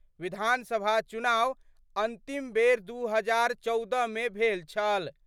विधानसभा चुनाव अंतिम बेर दो हजार चौदह मे भेल छल।